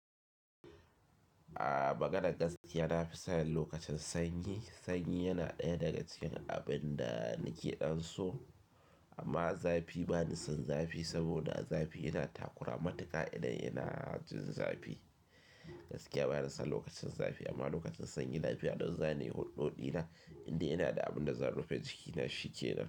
A maganan gaskiya na fi son lokacin sanyi. Sanyi yana ɗaya daga cikin abin da nake ɗonso. Amma zafi bani son zafi, saboda zafi yana takura matuƙa idan yana jin zafi. Gaskiya bani son lokacin zafi amma lokacin sanyi lafiya don zane huɗɗo ɗina inda yana da abin da zan rufe jikina shikenan.